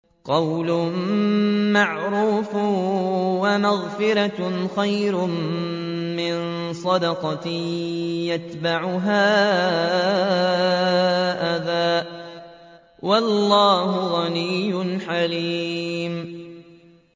۞ قَوْلٌ مَّعْرُوفٌ وَمَغْفِرَةٌ خَيْرٌ مِّن صَدَقَةٍ يَتْبَعُهَا أَذًى ۗ وَاللَّهُ غَنِيٌّ حَلِيمٌ